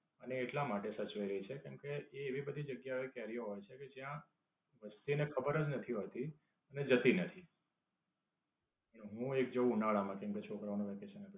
અને એટલા માટે સચવાઈ રહી છે કેમકે, એ એવી બધી જગ્યાઓએ કેરીઓ હોય છે કે ત્યાં વસ્તી ને ખબર જ નથી હોતી અને જતી નથી. હું એક જાઉં ઉનાળા માં કેમકે છોકરાઓનું વેકેશન હોય